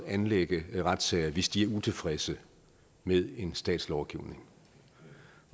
anlægge retssager hvis de er utilfredse med en stats lovgivning